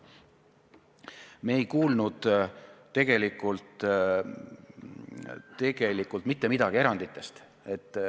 Me ei kuulnud tegelikult mitte midagi eranditest.